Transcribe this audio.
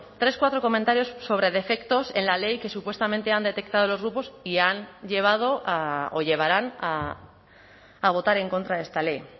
tres cuatro comentarios sobre defectos en la ley que supuestamente han detectado los grupos y han llevado o llevarán a votar en contra de esta ley